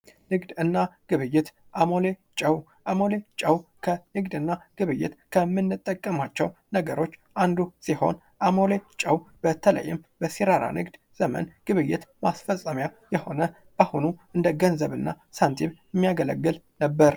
ንግድ እና ግብይት አሞሌ ጨው አሞሌ ጨው ከንግድ እና ግብይት ከምንጠቀማቸው ነገሮች አንዱ ሲሆን አሞሌ ጨው በተለይም በሲራራ ዘመን ንግድ ማስፈጸሚያ የሆነ እንደአሁኑ እንደገንዘብ እና ሳንቲም የሚያገለግል ነበር።